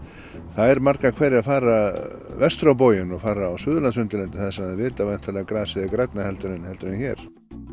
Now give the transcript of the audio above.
þær margar hverjar fara vestur á bóginn og fara á Suðurlandsundirlendið þar sem þær vita að grasið er grænna heldur en heldur en hér